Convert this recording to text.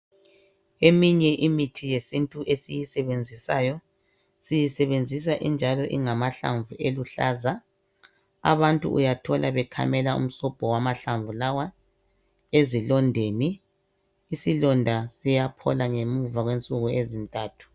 Eminye imithi yesintu esiyisebenzisayo siyisebenzisa injalo ingamahlamvu eluhlaza abantu uyathola bekhamela umsobho wamahlamvu lawa esilondeni isilonda siyaphola ngemva kwensuku ezintathu.